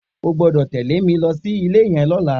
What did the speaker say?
O gbọ́dọ̀ tẹ̀lé mi lọ sí ilé yẹn lọ́la!